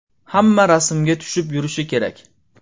Hamma rasmga tushib yurishi kerak.